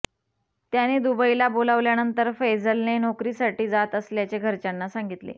त्याने दुबईला बोलावल्यानंतर फैझलने नोकरीसाठी जात असल्याचे घरच्यांना सांगितले